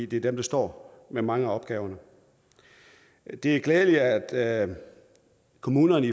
det er dem der står med mange af opgaverne det er glædeligt at kommunerne